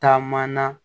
Taama na